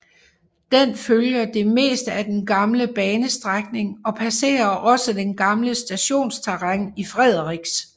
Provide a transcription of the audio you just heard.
Den følger det meste af den gamle banestrækning og passerer også det gamle stationsterræn i Frederiks